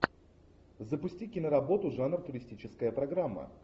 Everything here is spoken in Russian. запусти киноработу жанр туристическая программа